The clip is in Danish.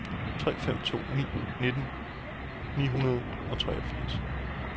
tre fem to ni nitten ni hundrede og treogfirs